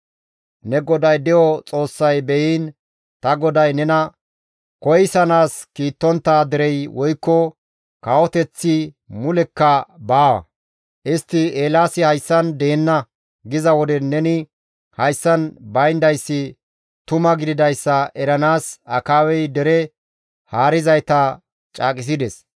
Ne GODAY de7o Xoossay beyiin ta goday nena koyssanaas kiittontta derey woykko kawoteththi mulekka baawa. Istti, ‹Eelaasi hayssan deenna› giza wode neni hayssan bayndayssi tuma gididayssa eranaas Akaabey dere haarizayta caaqisides.